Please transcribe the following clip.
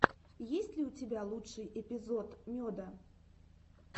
есть ли у тебя лучший эпизод меда